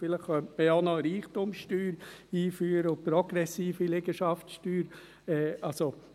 – Vielleicht könnte man ja auch noch eine Reichtumssteuer und eine progressive Liegenschaftssteuer einführen.